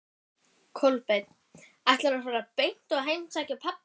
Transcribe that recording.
Kolbeinn: Ætlarðu að fara beint og heimsækja pabba?